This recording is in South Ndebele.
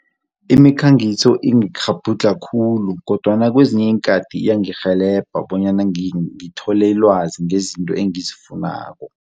Imikhangiso ingikghabhudlha khulu kodwana kwezinye iinkhathi iyangirhelebha bonyana ngithole ilwazi ngezinto engizifunako.